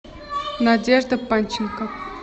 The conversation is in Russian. надежда панченко